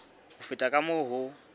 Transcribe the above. ho feta ka moo ho